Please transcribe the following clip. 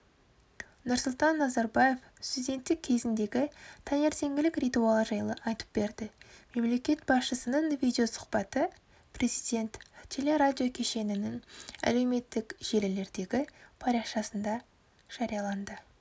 нұрсұлтан назарбаев студенттік кезіндегі таңертеңгілік ритуалы жайлы айтып берді мемлекет басшысының видеосұхбаты президент телерадиокешенінің әлеуметтік желілердегі парақшасында жарияланды